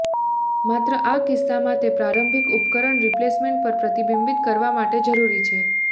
માત્ર આ કિસ્સામાં તે પ્રારંભિક ઉપકરણ રિપ્લેસમેન્ટ પર પ્રતિબિંબિત કરવા માટે જરૂરી છે